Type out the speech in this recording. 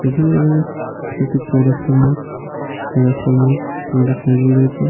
এখানে দেখা যাচ্ছে একটি চৌরাস্তার মোড় চৌরাস্তার মোড় দুটি সেলুন রয়েছে।